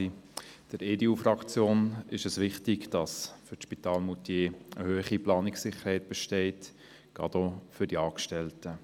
Für die EDU-Fraktion ist es wichtig, dass für das Spital Moutier eine hohe Planungssicherheit besteht, dies gerade auch für die Angestellten.